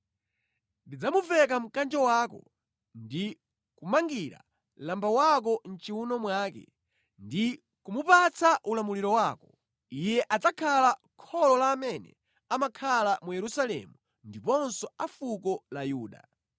Ndidzamuveka mkanjo wako ndi kumangira lamba wako mʼchiwuno mwake ndi kumupatsa ulamuliro wako. Iye adzakhala kholo la amene amakhala mu Yerusalemu ndiponso a fuko la Yuda.